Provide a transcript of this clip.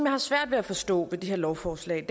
har svært ved at forstå ved det her lovforslag